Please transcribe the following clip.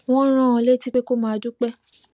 wón rán an létí pé kó máa dúpé